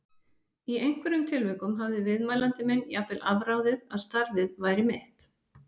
Í einhverjum tilvikum hafði viðmælandi minn jafnvel afráðið að starfið væri mitt.